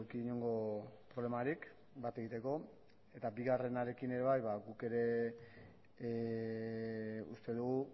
inongo problemarik bat egiteko eta bigarrenarekin ere bai guk ere uste dugu